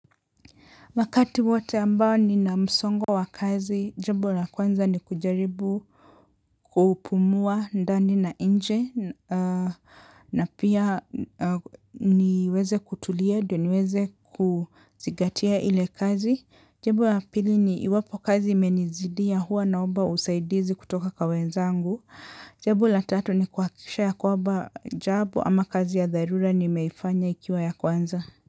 Makati wote ambao ni namsongo wa kazi, njambo ya kwanza ni kujaribu kupumua ndani na nje, na pia niweze kutulia, ndio niweze kuzingatia ile kazi, jambo ya pili ni iwapo kazi imenizidia huwa naomba usaidizi kutoka kwa wenzangu, jambo ya tatu ni kuhakisha ya kwamba jambo ama kazi ya dharura nimeifanya ikiwa ya kwanza.